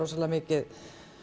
mikið